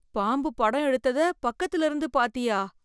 பாம்பு படம் எடுத்தத பக்கத்துல இருந்து பாத்தியா?